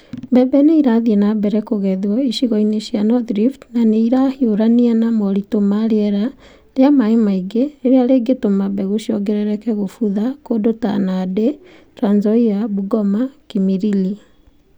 Mbebe ni͂ i͂rathii͂ na mbere ku͂gethwo icigo-ini cia North Rift, na ni͂ i͂rahiu͂rania na moritu͂ ma ri͂era ri͂a mai͂ maingi ri͂ri͂a ri͂ngi͂tu͂ma mbegu͂ ciongerereke ku͂butha ku͂ndu͂ ta Nandi, Trans Nzoia, Bungoma (Kimilili, Mt.